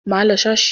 Má lọ ṣọ́ọ̀ṣì!